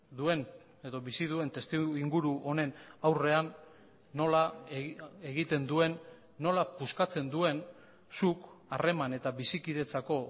duen edo bizi duen testuinguru honen aurrean nola egiten duen nola puskatzen duen zuk harreman eta bizikidetzako